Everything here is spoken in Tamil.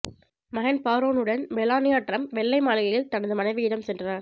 மகன் பாரோன்னுடன் மெலானியா டிரம்ப் வெள்ளை மாளிகையில் தனது மனைவியிடம் சென்றார்